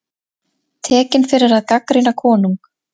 Tekinn fyrir að gagnrýna konung